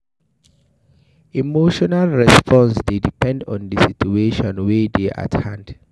Emotional response dey depend on di situation wey dey at hand